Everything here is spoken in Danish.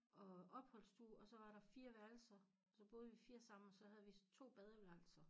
Og opholdsstue og så var der 4 værelser og så boede vi 4 sammen og så havde vi 2 badeværelser